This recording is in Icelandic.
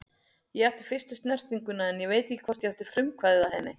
Ég átti fyrstu snertinguna en ég veit ekki hvort ég átti frumkvæðið að henni.